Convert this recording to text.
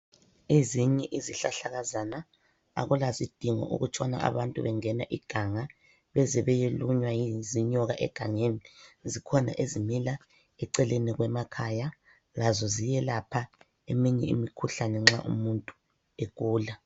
Ezinye izihlahlakazana akulasidingo ukutshona abantu bengena iganga bezebeyelunywa zinyoka egangeni. Zikhona ezimila eceleni kwemakhaya lazo ziyelapha eminye imikhuhlane nxa umuntu egula.